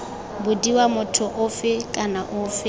bodiwa motho ofe kana ofe